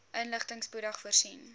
inligting spoedig voorsien